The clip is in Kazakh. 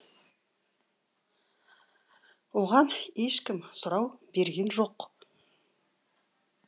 оған ешкім сұрау берген жоқ